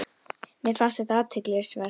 Mér fannst þetta athygli vert.